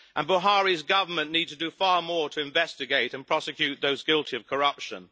Buhari's government needs to do far more to investigate and prosecute those guilty of corruption.